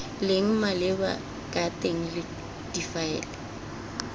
leng maleba ka teng difaele